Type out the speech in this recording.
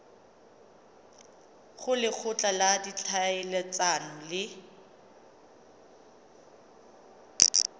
go lekgotla la ditlhaeletsano le